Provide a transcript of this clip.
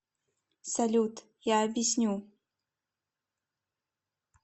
салют я объясню